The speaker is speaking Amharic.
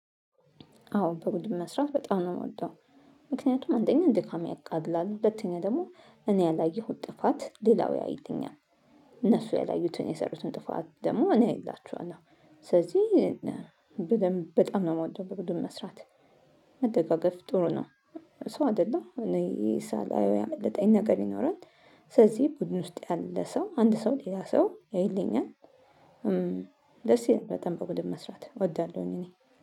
አዎ በቡድን መስራት በጣም ነው የምወደው። ምክንያቱም አንደኛ ድካም ያቃልላል ሁለተኛ ደግሞ እኔ ያላየሁት ጥፋት ሌላው ያይልኛል። እነሱ ያላዩትን የሠሩትን ጥፋት ደግሞ እኔ አይላቸዋለሁ። ስለዚህ በጣም ነው የምወደው በቡድን መስራት። መደጋገፍ ጥሩ ነው። ሰው አይደለሁ እኔ ሳላየው ያመለጠኝ ነገር ይኖራል። ስለዚህ ቡድን ውስጥ ያለ ሰው አንድ ሰው ሌላ ሰው ያይልኛል። ደስ ይል በጣም በቡድን መስራት እወዳለሁኝ እኔ